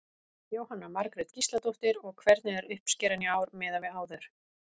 Jóhanna Margrét Gísladóttir: Og hvernig er uppskeran í ár miðað við áður?